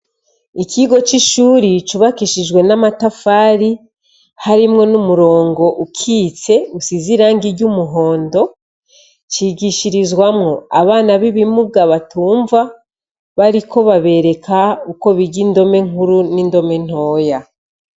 Ikigo c'ishuri cubakishijwe n'amatafari harimwo n'umurongo ukitse usize iranga iryo umuhondo cigishirizwamwo abana b'ibimubwabatumva bariko babereka uko biga indome nkuru n'indome ntoya.